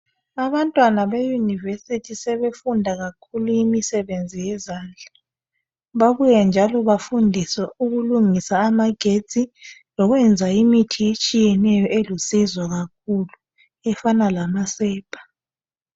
Abantwana beUniversity sebefunda kakhulu imisebenzi yezandla babuye njalo bafundiswe ukulungisa amagetsi lokwenza imithi etshiyeneyo elusizo kakhulu efana lamasepa